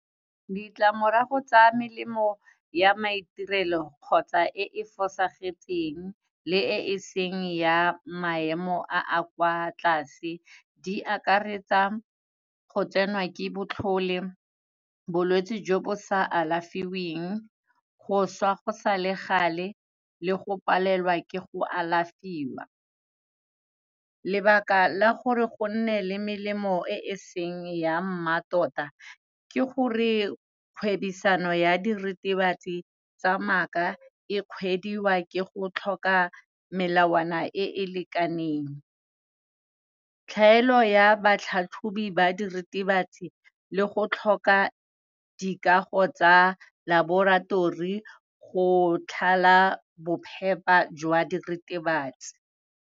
Ditlamorago tsa melemo ya maitirelo kgotsa e e fosagetseng, le e e seng ya maemo a a kwa tlase di akaretsa, go tsenwa ke botlhole bolwetsi jo bo sa alafiweng, go swa go sa le gale le go palelwa ke go alafiwa. Lebaka la gore go nne le melemo e e seng ya mmatota, ke gore kgwebisano ya diritibatsi tsa maaka e kgwediwa ke go tlhoka melawana e e lekaneng. Tlhaelo ya batlhatlhobi ba diritibatsi le go tlhoka dikago tsa laboratori, go tlhola bophepha jwa diritibatsi.